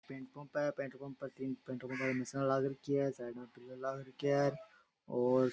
petrol pump है petrol pump पे तीन पेट्रोल पंप आली मशीना लाग राखी है साइड में पिलर लाग रख्या है और --